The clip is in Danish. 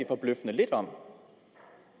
forbløffende lidt om